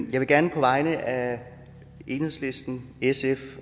vil gerne på vegne af enhedslisten sf